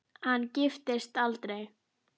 Hann giftist aldrei.